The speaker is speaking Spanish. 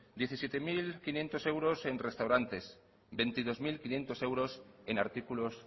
diecisiete mil quinientos euros en restaurantes veintidós mil quinientos euros en artículos